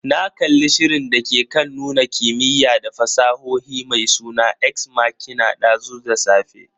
Na kalli shirin dake kan nuna kimiyya da fasahohi mai suna "Ex machina" dazu da safe.